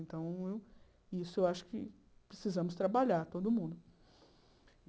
Então, isso eu acho que precisamos trabalhar, todo mundo.